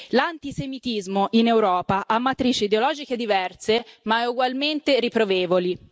L'antisemitismo in Europa ha matrici ideologiche diverse, ma ugualmente riprovevoli.